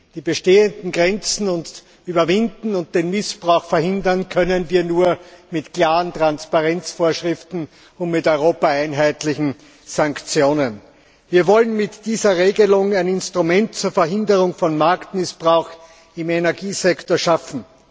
Die bestehenden Grenzen überwinden und den Missbrauch verhindern können wir nur mit klaren Transparenzvorschriften und mit europaweit einheitlichen Sanktionen. Wir wollen mit dieser Regelung ein Instrument zur Verhinderung von Marktmissbrauch im Energiesektor schaffen.